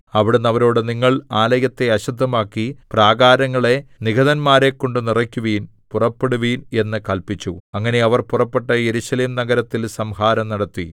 അവിടുന്ന് അവരോട് നിങ്ങൾ ആലയത്തെ അശുദ്ധമാക്കി പ്രാകാരങ്ങളെ നിഹതന്മാരെക്കൊണ്ടു നിറയ്ക്കുവിൻ പുറപ്പെടുവിൻ എന്ന് കല്പിച്ചു അങ്ങനെ അവർ പുറപ്പെട്ട് യെരുശലേം നഗരത്തിൽ സംഹാരം നടത്തി